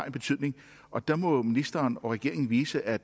en betydning og der må ministeren og regeringen vise at